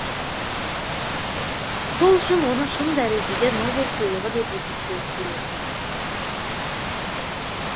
сол үшін оны шын дәрежеде нобель сыйлығы деп есептеу қиын